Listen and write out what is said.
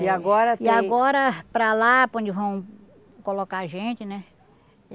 E agora tem. E agora para lá, para onde vão colocar a gente, né?